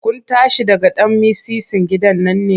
Kun tashi daga ɗan mitsitsin gidan ne?